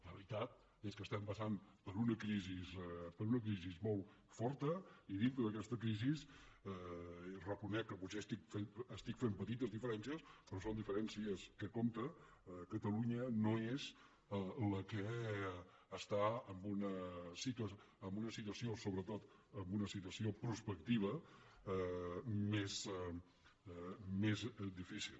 la veritat és que estem passant per una crisi molt forta i dintre d’aquesta crisi reconec que potser estic fent petites diferències però són diferències que compten catalunya no és la que està en una situació sobretot en una situació prospectiva més difícil